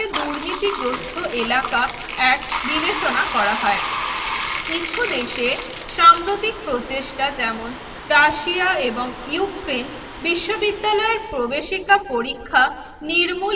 দুর্নীতিগ্রস্ত এলাকা এক বিবেচনা করা হয় কিছু দেশে সাম্প্রতিক প্রচেষ্টা যেমন রাশিয়া এবং ইউক্রেন বিশ্ববিদ্যালয়ের প্রবেশিকা পরীক্ষা নির্মূলে